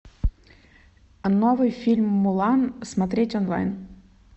новый фильм мулан смотреть онлайн